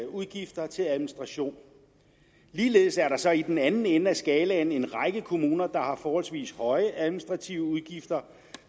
udgifter til administration ligeledes er der så i den anden ende af skalaen en række kommuner der har forholdsvis høje administrative udgifter